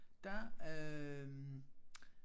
Der øh